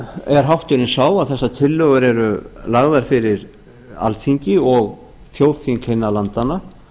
er hátturinn sá að þessar tillögur eru lagðar fyrir alþingi og þjóðþing hinna landanna